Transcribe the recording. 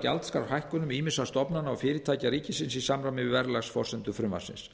gjaldskrárhækkunum ýmissa stofnana og fyrirtækja ríkisins í samræmi við verðlagsforsendur frumvarpsins